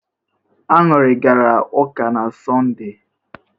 Añụrị gara ụka na Sọnde?